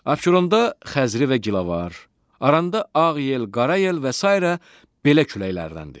Abşeronda Xəzri və Gilavar, Aranda Ağ Yel, Qara Yel və sairə belə küləklərdəndir.